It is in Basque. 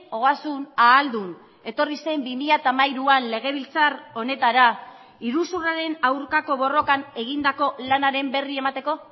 ogasun ahaldun etorri zen bi mila hamairuan legebiltzar honetara iruzurraren aurkako borrokan egindako lanaren berri emateko